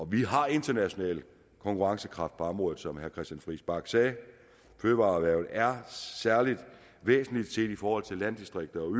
vi har international konkurrencekraft på området som herre christian friis bach sagde og fødevareerhvervet er særlig væsentligt set i forhold til landdistrikter og